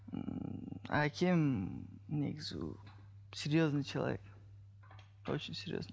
әкем негізі серьезный человек очень серьезный